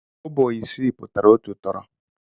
Kobo isii pụtara otu tọrọ.